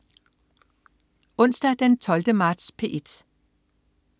Onsdag den 12. marts - P1: